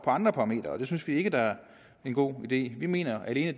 andre parametre og det synes vi ikke er en god idé vi mener at det